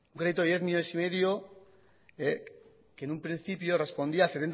un crédito de diez coma cinco millónes que en un principio respondía